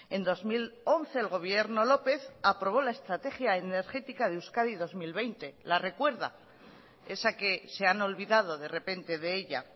en dos mil once el gobierno lópez aprobó la estrategia energética de euskadi dos mil veinte la recuerda esa que se han olvidado de repente de ella